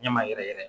Ɲɛ ma yɛrɛ yɛrɛ